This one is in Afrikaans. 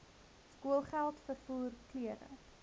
skoolgeld vervoer klere